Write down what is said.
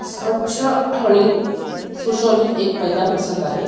स्वच्छ आणि सुशोभित एक मैदान दिसत आहे.